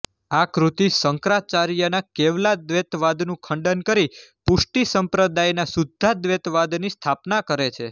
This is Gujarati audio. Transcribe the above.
આ કૃતિ શંકરાચાર્યના કેવલાદ્વૈતવાદનું ખંડન કરી પુષ્ટિસંપ્રદાયના શુદ્ધાદ્વૈતવાદની સ્થાપના કરે છે